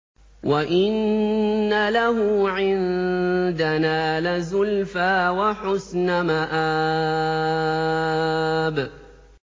وَإِنَّ لَهُ عِندَنَا لَزُلْفَىٰ وَحُسْنَ مَآبٍ